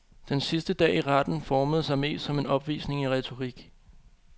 Den sidste dag i retten formede sig mest som en opvisning i retorik.